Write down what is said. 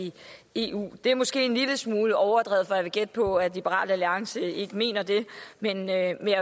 eu det er måske en lille smule overdrevet for jeg vil gætte på at liberal alliance ikke mener det men jeg vil